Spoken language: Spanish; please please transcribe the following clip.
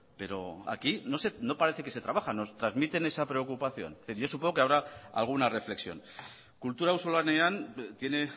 pero aquí no parece que se trabaja nos transmiten esa preocupación pero yo supongo que habrá alguna reflexión kultura auzolanean tiene